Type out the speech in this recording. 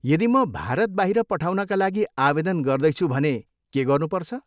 यदि म भारत बाहिर पठाउनका लागि आवेदन गर्दैछु भने के गर्नुपर्छ?